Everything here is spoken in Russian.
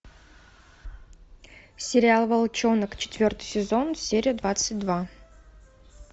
сериал волчонок четвертый сезон серия двадцать два